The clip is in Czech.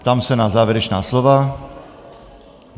Ptám se na závěrečná slova.